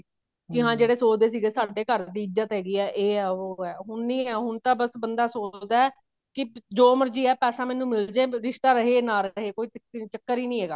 ਕੀ ਹਾਂ ਜਿਹੜੇ ਸੋਚਦੇ ਸੀ ਸਾਡੇ ਘਰ ਦੀ ਇੱਜਤ ਹੈਗੀ ਆ ਇਹ ਉਹ ਹੁਣ ਨੀ ਹੈ ਹੁਣ ਤਾਂ ਬਸ ਬੰਦਾ ਸੋਚਦਾ ਕੀ ਜੋ ਮਰਜ਼ੀ ਹੈ ਪੈਸਾ ਮੈਨੂੰ ਮਿਲਜੇ ਰਿਸ਼ਤਾ ਰਹੇ ਨਾ ਰਹੇ ਕੋਈ ਚੱਕਰ ਹੀ ਨੀ ਹੈਗਾ